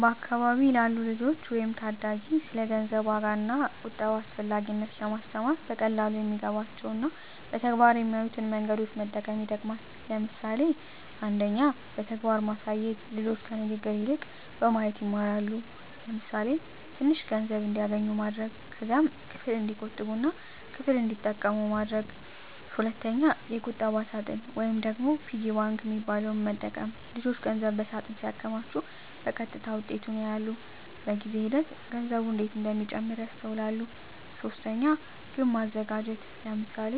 በአካባቢ ላሉ ልጆች ወይም ታዳጊ ስለ ገንዘብ ዋጋ እና ቁጠባ አስፈላጊነት ለማስተማር በቀላሉ የሚገባቸው እና በተግባር የሚያዩትን መንገዶች መጠቀም ይጠቅማል። ለምሳሌ 1. በተግባር ማሳየት ልጆች ከንግግር ይልቅ በማየት ይማራሉ። ለምሳሌ፣ ትንሽ ገንዘብ እንዲያገኙ ማድረግ። ከዚያም ክፍል እንዲቆጥቡ እና ክፍል እንዲጠቀሙ ማሳየት። 2. የቁጠባ ሳጥን (Piggy bank) መጠቀም ልጆች ገንዘብ በሳጥን ሲያከማቹ በቀጥታ ውጤቱን ያያሉ። በጊዜ ሂደት ገንዘቡ እንዴት እንደሚጨምር ያስተውላሉ። 3. ግብ ማዘጋጀት ለምሳሌ፣